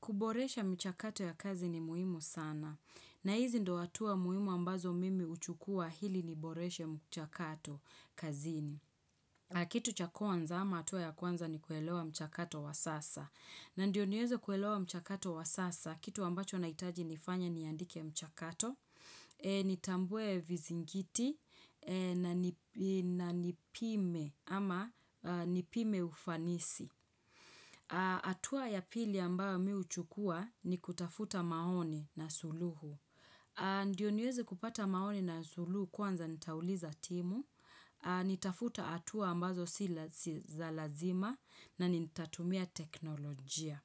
Kuboresha mchakato ya kazi ni muhimu sana. Na hizi ndo hatuwa muhimu ambazo mimi huchukua hili ni boreshe mchakato kazi ni. Kitu cha kwanza ama hatuwa ya kwanza ni kuelewa mchakato wa sasa. Na ndio niwezo kuelewa mchakato wa sasa. Kitu ambacho naitaji nifanye ni yandike mchakato. Eee ni tambue vizingiti eee na ni ii nani pime ama aaa ni pime ufanisi. Aaa hatua ya pili ambayo mihuchukua ni kutafuta maoni na suluhu. Aaa Ndio niwezi kupata maoni na suluhu kwanza nitauliza timu. Aaa Nitafuta atua ambazo si lasi za lazima na nitatumia teknolojia.